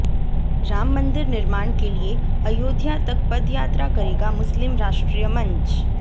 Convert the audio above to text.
राम मंदिर निर्माण के लिए अयोध्या तक पदयात्रा करेगा मुस्लिम राष्ट्रीय मंच